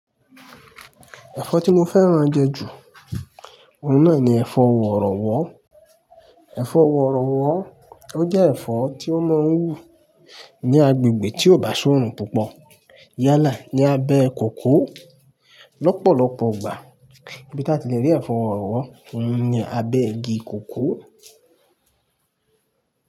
Ẹ̀fọ́ tí mo fẹ́ràn jẹ ju, òun náà ni ẹ̀fọ́ worowo. Ẹ̀fọ́ worowo ó jẹ́ ẹ̀fọ́ tí ó máa ń wù ní agbègbè tí ò bá ṣọ́rùn púpọ̀. Yálà ní abẹ́ kòkó. Lọ́pọ̀lọ́pọ̀ ìgbà ibí tí a ti lè rí ẹ̀fọ́ worowo ni ní abẹ́ igi kòkó.